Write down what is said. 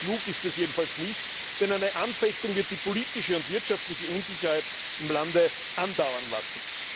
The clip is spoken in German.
Politisch klug ist das jedenfalls nicht, denn eine Anfechtung wird die politische und wirtschaftliche Unsicherheit im Lande andauern lassen.